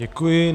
Děkuji.